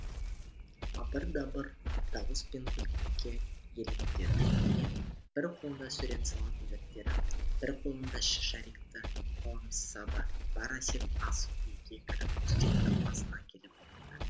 абыр дабыр дауыс пен күлкіге елеңдеді ме бір қолында сурет салатын дәптері бір қолында шарикті қаламсабы бар әсет ас үйге кіріп үстелдің басына келіп отырды